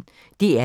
DR P1